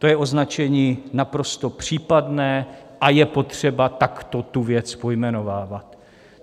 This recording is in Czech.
To je označení naprosto případné a je potřeba takto tu věc pojmenovávat.